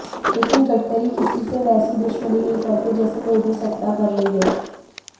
लेकिन गडकरी किसी से वैसी दुशमनी नहीं करते जैसी मोदी सत्ता कर रही है